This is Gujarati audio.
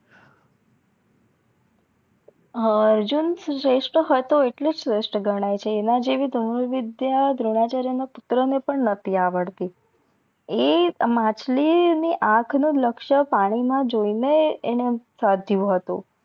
હા અર્જુન શ્રેસ્થ હતો આટલે શ્રેસ્થ ગણાઈ છે એના જેવી ધનુરવિધ્ય દ્રોણાચાર્ય ના પુત્ર ને પણ નટી આવડતી એ માછલી ની આખ ને લક્ષ્ય પાણી મા જોઈ ને એણે સાધ્યું હતું